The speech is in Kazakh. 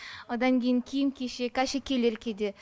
одан кейін киім кешек әшекейлер кейде